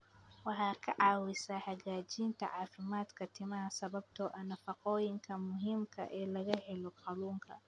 Waxay ka caawisaa hagaajinta caafimaadka timaha sababtoo ah nafaqooyinka muhiimka ah ee laga helo kalluunka.